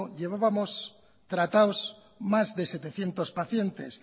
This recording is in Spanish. llevábamos tratados más de setecientos pacientes